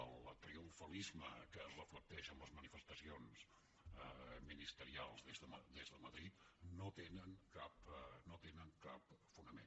el triomfalisme que es reflecteix en les manifestacions ministerials des de madrid no té cap fonament